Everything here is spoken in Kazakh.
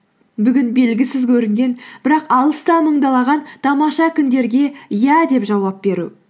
бүгін белгісіз көрінген бірақ алыста мыңдалаған тамаша күндерге иә деп жауап беру